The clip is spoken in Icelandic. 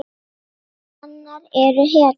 Hanar eru hetjur.